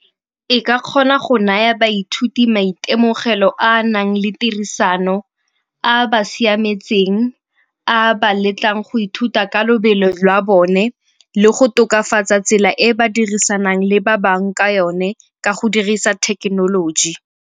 E ka kgona go naya baithuti maitemogelo a a nang le tirisano, a a ba siametseng, a a ba letlang go ithuta ka lobelo jwa bone le go tokafatsa tsela e ba dirisanang le ba bangwe ka yone ka go dirisa thekenoloji.